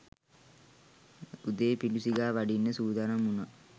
උදේ පිඬු සිඟා වඩින්න සූදානම් වුනා.